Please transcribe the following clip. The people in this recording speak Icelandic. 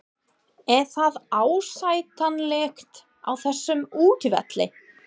Er það ásættanlegt á þessum útivelli?